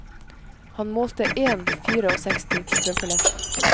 Han målte én fireogseksti på strømpelesten.